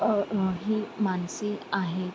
अ इ ही माणसे आहेत.